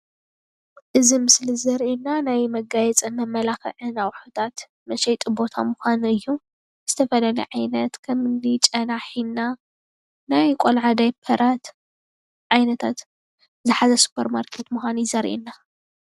እዚ ምስሊ እዚ ዘርአና ናይ መጋያየፂ መማላኽዕን ኣቑሑታት መሽጢ ቦታ ምኳኑ እዩ፣ ዝተፈላለዩ ዓይነት ከም እኒ ጨና፣ ሒና ናይ ቆልዑ ዳፔራት ዝሓዘ ስፖርማርኬት ምኳኑ እዩ ዘርእየና።